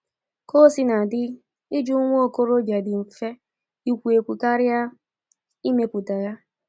Ka o sina dị, ịjụ nwa okorobịa dị mfe ikwu ekwu karịa ịmepụta ya.